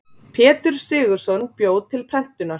Pétur Sigurðsson bjó til prentunar.